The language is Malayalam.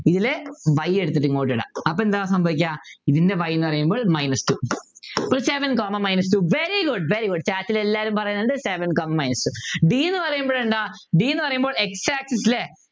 ഇതില് y എടുത്തിട്ടിങ്ങോട്ട് ഇടാം അപ്പൊ എന്താ സംഭവിക്കുക ഇതിൻ്റെ y എന്ന് പറയുമ്പോൾ minus two Seven comma minus two very good very good Class ലെ എല്ലാവരും പറയുന്നുണ്ട് Seven comma minus two d എന്ന് പറയുമ്പോൾ എന്താ d എന്ന് പറയുമ്പോൾ X axis ലെ